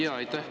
Aitäh!